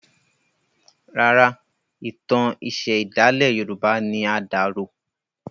Rárá, ìtàn iṣẹ̀ ìdálẹ̀ yorùbá ni a dà rò.